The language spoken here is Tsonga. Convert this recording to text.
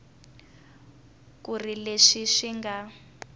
ku ri leswi swi nga